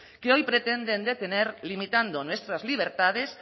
que hoy pretenden detener limitando nuestras libertades